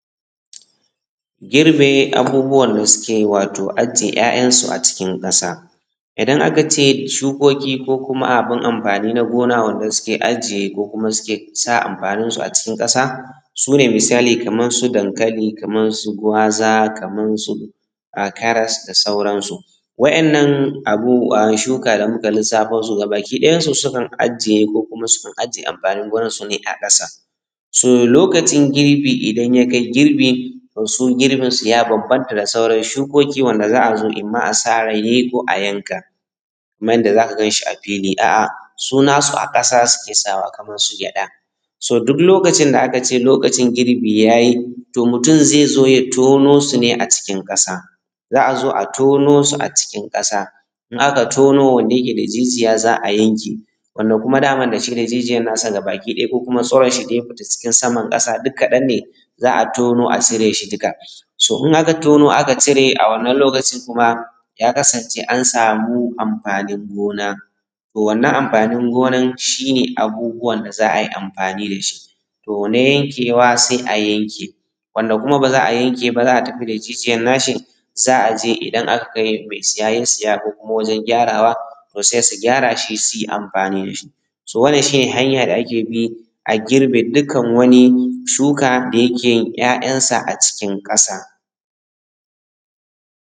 Girbe abubuwan da suke wato ajiye `ya`yan su a cikin kasa, idan aka ce shukoki ko kuma abin amfani na gona wanda suke ajiye ko kuma suke sa amfanin su a cikin kasa, sune misali Kaman su dankali, Kaman su gwaza, Kaman su a karas da sauransu, wa`yannan abu a shuka da muka lissafa su gabaki dayansu sukan ajiye ko kuma sukan ajiye amfanin gonansu a kasa, so lokacin girbi idan ya kai girbi to su girbinsu ya bambanta da sauran shukoki wanda za`a zo imam sarewa ko a yanka kaman yadda zaka ganshi a fili a`a su na su a kasa suke sawa, kaman su gyada, so duk lokacin da aka ce lokacin girbi ya yi to mutum zai tono su ne a cikin Ƙasa, za`a zo a tono su a cikin kasa in aka tono wanda yake da jijiya za a yanke wanda kuma daman da shi da jijiyan na sa gabaki daya ko kuma tsuran shi da ya fito cikin saman ƙasa duk kaɗan ne za a tono a cire shi dukka, so in aka tono aka cire a wannan lokacin kuma ya kasance an samu amfanin gona to wannan amfann gonan shi ne abubuwan da za a yi amfani da shi, to na yankewa sai a yanka, wanda kuma ba za a yanka ba za a tafi da jijiyan na shi za a je idan aka ga mai siya ya siya ko kuma wajen gyarawa to sai su gyara shi su yi amfani da shi, so wannan shi ne hanya da ake bi a girbi dukkan wani shuka da yake yin `ya`yansa a cikin Ƙasa.